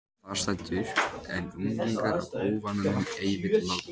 Þar stendur: En unglingur af óvananum ei vill láta